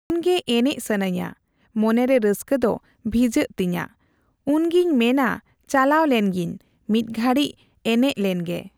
ᱩᱱ ᱜᱮ ᱮᱱᱮᱡ ᱥᱟᱱᱟᱹᱧᱟ ᱢᱚᱱᱮ ᱜᱮ ᱨᱟᱹᱥᱠᱟᱹ ᱫᱚ ᱵᱷᱤᱡᱟᱹᱜ ᱛᱤᱧᱟᱹ, ᱩᱱᱜᱮ ᱢᱮᱱᱟ ᱪᱟᱞᱟᱣ ᱞᱮᱱ ᱜᱤᱧ ᱢᱤᱜᱜᱷᱟᱲᱤᱡ ᱮᱱᱮᱡ ᱞᱮᱱ ᱜᱮ ᱾